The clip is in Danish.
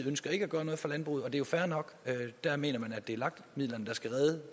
ønsker ikke at gøre noget for landbruget og det er jo fair nok der mener man at det er lag midlerne der skal redde